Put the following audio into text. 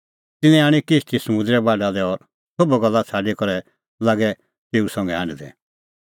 तिन्नैं आणी किश्ती समुंदरे बाढा लै और सोभ गल्ला छ़ाडी करै लागै तेऊ संघै हांढदै